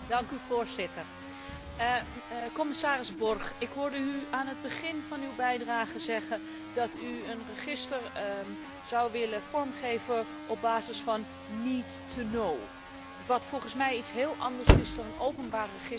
Commissaris Borg, ik hoorde u aan het begin van uw bijdrage zeggen dat u een register zou willen vormgeven op basis van wat volgens mij iets heel anders is dan een openbaar register waar dit Parlement voor staat.